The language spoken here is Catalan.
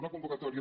una convocatòria